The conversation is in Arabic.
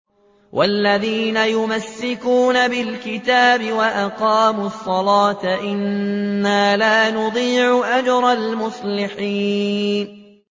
وَالَّذِينَ يُمَسِّكُونَ بِالْكِتَابِ وَأَقَامُوا الصَّلَاةَ إِنَّا لَا نُضِيعُ أَجْرَ الْمُصْلِحِينَ